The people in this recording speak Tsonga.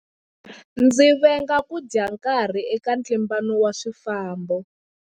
Ndzi venga ku dya nkarhi eka ntlimbano wa swifambo.